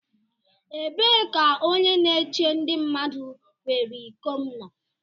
Ebee ka onye na-eche ndi mmadu were iko m nọ?